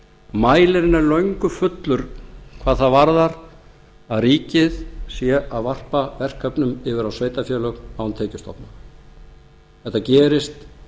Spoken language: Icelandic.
er löngu fullur hvað það varðar að ríkið sé að varpa verkefnum yfir á sveitarfélög án tekjustofna þetta gerist